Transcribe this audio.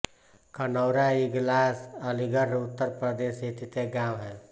कनौरा इगलास अलीगढ़ उत्तर प्रदेश स्थित एक गाँव है